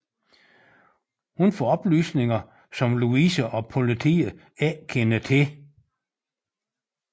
Hun får oplysninger som Louise og politiet ikke kender til